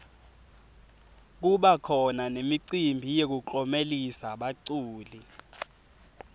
kubakhona nemicimbi yekuklomelisa baculi